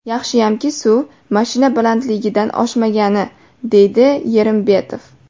Yaxshiyamki suv mashina balandligidan oshmagani”, deydi Yerimbetov.